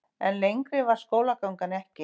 En lengri varð skólagangan ekki.